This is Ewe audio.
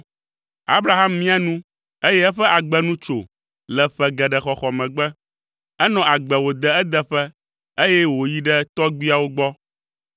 Abraham mia nu, eye eƒe agbe nu tso le ƒe geɖe xɔxɔ megbe. Enɔ agbe wòde edeƒe, eye wòyi ɖe tɔgbuiawo gbɔ.